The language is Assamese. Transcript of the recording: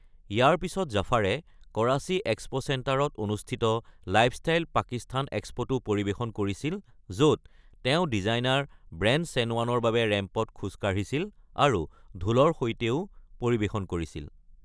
ইয়াৰ পিছত জাফাৰে কৰাচী এক্সপ’ চেণ্টাৰত অনুষ্ঠিত লাইফষ্টাইল পাকিস্তান এক্সপ’তো পৰিৱেশন কৰিছিল, য’ত তেওঁ ডিজাইনাৰ ব্ৰেণ্ড চেনৱানৰ বাবে ৰেম্পত খোজ কাঢ়িছিল আৰু ঢোলৰ সৈতেও পৰিৱেশন কৰিছিল।